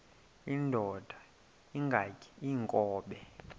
indod ingaty iinkobe